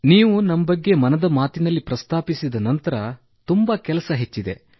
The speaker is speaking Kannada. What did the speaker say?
ನೀವು ನಮ್ಮ ಬಗ್ಗೆ ಮನದ ಮಾತಿನಲ್ಲಿ ಪ್ರಸ್ತಾಪಿಸಿದ ನಂತರ ತುಂಬಾ ಕೆಲಸ ಹೆಚ್ಚಿದೆ